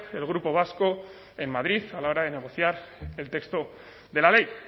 el grupo vasco en madrid a la hora de negociar el texto de la ley